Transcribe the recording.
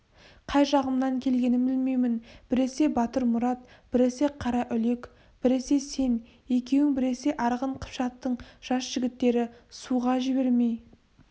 қай жағымнан келгенін білмеймін біресе батырмұрат біресе қараүлек біресе сен екеуің біресе арғын қыпшақтың жас жігіттері суға жібермей